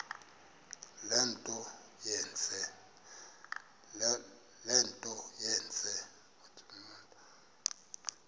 le nto yenze